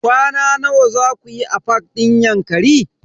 Kwana nawa zaku yi a fak din Yankari?